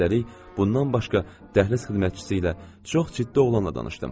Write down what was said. Üstəlik, bundan başqa dəhliz xidmətçisi ilə çox ciddi oğlanla danışdım.